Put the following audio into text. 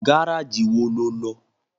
Gárájì wo lo lọ?